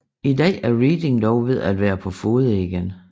I dag er Reading dog ved at være på fode igen